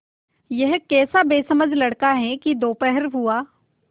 यह कैसा बेसमझ लड़का है कि दोपहर हुआ